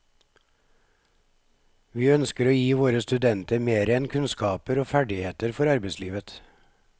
Vi ønsker å gi våre studenter mer enn kunnskaper og ferdigheter for arbeidslivet.